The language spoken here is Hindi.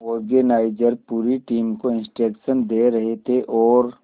ऑर्गेनाइजर पूरी टीम को इंस्ट्रक्शन दे रहे थे और